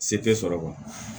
Se tɛ sɔrɔ